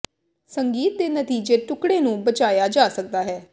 ਸੰਗੀਤ ਦੇ ਨਤੀਜੇ ਟੁਕੜੇ ਨੂੰ ਬਚਾਇਆ ਜਾ ਸਕਦਾ ਹੈ